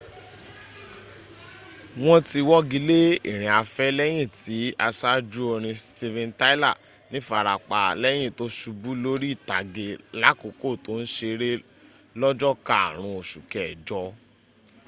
wọ́n ti wọ́gilé ìrìnafẹ́ lẹ́yìn tí asájú orin steven tyler nífarapa lẹ́yin tó subú lórí ìtàgé lákòókò tó ń seré lọ́jọ́ karùn ún osù kẹjọ